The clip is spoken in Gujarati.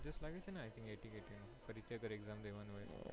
આવી તી ને ATKT ની પરીક્ષા દર exam દેવાની હોય.